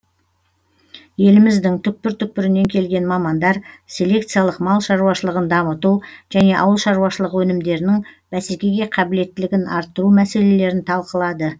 еліміздің түкпір түкпірінен келген мамандар селекциялық мал шаруашылығын дамыту және ауыл шаруашылығы өнімдерінің бәсекеге қабілеттілігін арттыру мәселелерін талқылады